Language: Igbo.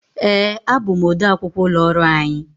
Ee, abụ m ọde akwụkwọ ụlọ ọrụ anyị.